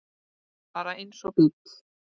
Bara eins og bíll.